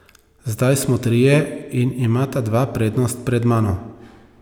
Zdaj smo trije in imata dva prednost pred mano.